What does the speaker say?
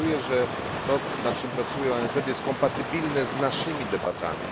To pokazuje, że to, nad czym pracuje ONZ jest kompatybilne z naszymi debatami.